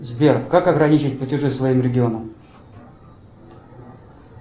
сбер как ограничить платежи своим регионом